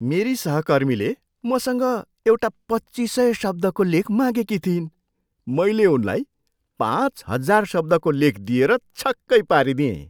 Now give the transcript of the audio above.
मेरी सहकर्मीले मसँग एउटा पच्चिस सय शब्दको लेख मागेकी थिइन्, मैले उनलाई पाँच हजार शब्दको लेख दिएर छक्कै पारिदिएँ।